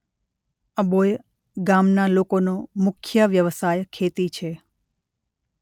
અબોચ ગામના લોકોનો મુખ્ય વ્યવસાય ખેતી છે.